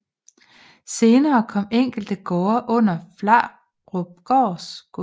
Senere kom enkelte gårde under Flarupgaard gods